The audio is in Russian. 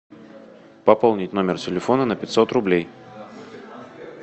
пополнить номер телефона на пятьсот рублей